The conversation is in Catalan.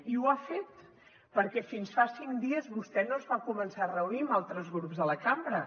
i ho ha fet perquè fins fa cinc dies vostè no es va començar a reunir amb altres grups de la cambra